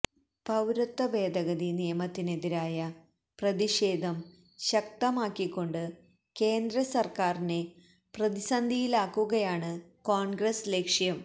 പൌരത്വ ഭേദഗതി നിയമത്തിനെതിരായ പ്രതിഷേധം ശക്തമാക്കികൊണ്ട് കേന്ദ്ര സര്ക്കാരിനെ പ്രതിസന്ധിയിലാക്കുകയാണ് കോണ്ഗ്രസ് ലക്ഷ്യം